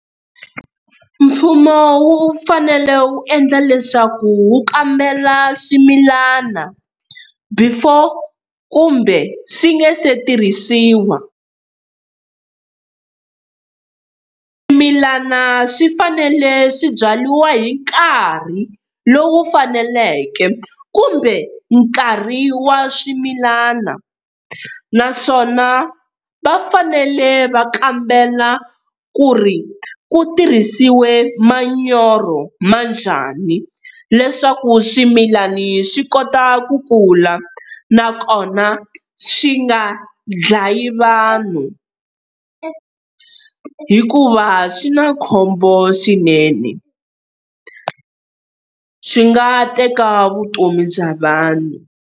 Mfumo wu fanele wu endla leswaku wu kambela swimilana, before kumbe swi nga se tirhisiwa. Swimilana swi fanele swi byariwa hi nkarhi lowu faneleke, kumbe nkarhi wa swimilana naswona va fanele va kambela ku ri ku tirhisiwe manyoro ma njhani, leswaku swimilani swi kota ku kula, nakona swi nga dlayi vanhu, hikuva swi na khombo swinene swi nga teka vutomi bya vanhu.